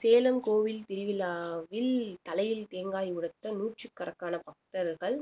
சேலம் கோவில் திருவிழாவில் தலையில் தேங்காய் உடைத்த நூற்றுக்கணக்கான பக்தர்கள்